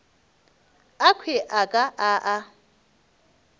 akhwi a ka a a